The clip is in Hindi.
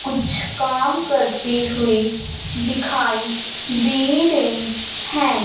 कुछ काम करती हुई दिखाई दे रही हैं।